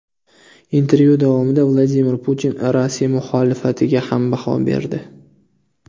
Intervyu davomida Vladimir Putin Rossiya muxolifatiga ham baho berdi.